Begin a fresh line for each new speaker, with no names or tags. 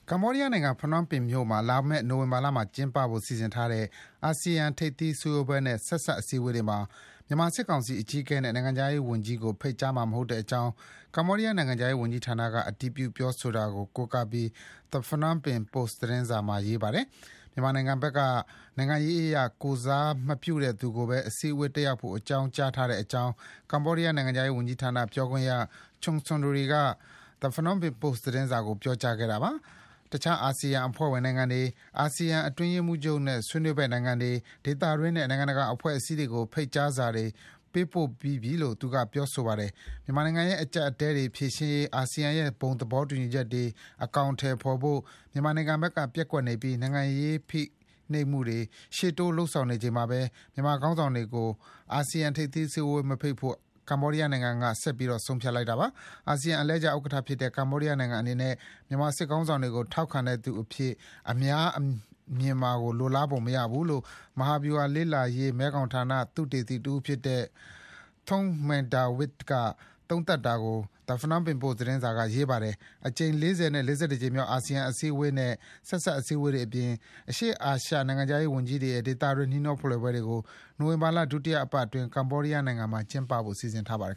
ကမ္ဘောဒီးယားနိုင်ငံ Phnom Penh မြို့မှာ ကျင်းပဖို့ စီစဉ်ထားတဲ့ အာဆီယံထိပ်သီး ဆွေးနွေးပွဲနဲ့ ဆက်စပ် အစည်းအဝေးတွေမှာ မြန်မာစစ်ကောင်စီအကြီးအကဲနဲ့ နိုင်ငံခြားရေးဝန်ကြီးကို ဖိတ်မှာမဟုတ်ကြောင်း ကမ္ဘောဒီးယားနိုင်ငံခြားရေးဝန်ကြီးဌာနက အတည်ပြုတာကို The Phnom Penh Post သတင်းစာမှာ ရေးပါတယ်။ မြန်မာနိုင်ငံဘက်က နိုင်ငံရေးအရကိုယ်စားမပြုတဲ့သူကိုပဲ အစည်းအဝေးတက်ရောက်ဖို့ အကြောင်းကြားထားကြောင်း ကမ္ဘောဒီးယားနိုင်ငံခြားရေးဝန်ကြီးဌာန ပြောခွင့်ရ Chum Sunry က The Phnom Penh Post သတင်းစာကို ပြောကြားတာပါ။ တခြား အာဆီယံ အဖွဲ့ဝင်နိုင်ငံတွေ၊ အာဆီယံအတွင်းရေးမှူးချုပ်နဲ့ ဆွေးနွေးဖက်နိုင်ငံတွေ၊ ဒေသတွင်းနဲ့ နိုင်ငံတကာအဖွဲ့အစည်းတွေကို ဖိတ်ကြားစာတွေ ပေးပို့ပြီးပြီလို့ Chum Sunry က ပြောဆိုပါတယ်။ မြန်မာနိုင်ငံရဲ့ အကြပ်အတည်းတွေ ဖြေရှင်းရေး အာဆီယံရဲ့ ဘုံသဘောတူညီချက်တွေ အကောင်အထည်ဖေါ်ဖို့ မြန်မာနိုင်ငံဘက်က ပျက်ကွက်နေပြီး နိုင်ငံရေးဖိနှိပ်မှုတွေ ရှေ့တိုးလုပ်ဆောင်နေချိန်မှာပဲ မြန်မာခေါင်းဆောင်တွေကို အာဆီယံ ထိပ်သီးအစည်းအဝေးမဖိတ်ဖို့ ကမ္ဘောဒီးယားနိုင်ငံက ဆက်ပြီး ဆုံးဖြတ်တာပါ။ အာဆီယံ အလှည့်ကျဥက္ကဋ္ဌဖြစ်တဲ့ ကမ္ဘောဒီးယားနိုင်ငံအနေနဲ့ မြန်မာစစ်တပ်ခေါင်းဆောင်တွေကို ထောက်ခံတဲ့သူအဖြစ် အများကမြင်မှာကို လိုလားပုံမရဘူးလို့ မဟာဗျူဟာလေ့လာရေး မဲခေါင်ဌာန သုတေသီ တဦးဖြစ်တဲ့ Thong Mengdavid က သုံးသပ်တာကို The Phnom Penh Post သတင်းစာက ရေးပါတယ်။ အကြိမ် ၄၀ နဲ့ ၄၁ ကြိမ်မြောက် အာဆီယံထိပ်သီးအစည်းအဝေးနဲ့ ဆက်စပ်အစည်းအဝေးတွအပြင် အရှေ့အာရှ နိုင်ငံခြားရေးဝန်ကြီးတွေနဲ့ ဒေသတွင်း နှီးနှောဖလှယ်ပွဲတွေကို နိုဝင်ဘာလ ဒုတိယပတ်အတွင်း ကမ္ဘောဒီးယားနိုင်ငံမှာ ကျင်းပဖို့ စီစဉ်ထားပါတယ်